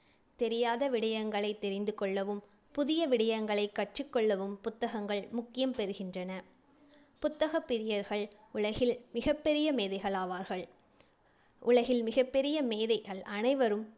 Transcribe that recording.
தெரியாத விடயங்களைத் தெரிந்து கொள்ளவும்⸴ புதிய விடயங்களைக் கற்றுக் கொள்ளவும் புத்தகங்கள் முக்கியம் பெறுகின்றன புத்தகப் பிரியர்கள் உலகில் பெரிய மேதைகள் ஆவார்கள் இலகில் மிகப்பெரிய மேதைகள் அனைவரும்